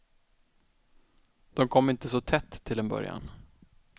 De kom inte så tätt till en början.